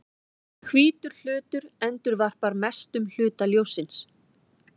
Hvítur hlutur endurvarpar mestum hluta ljóssins.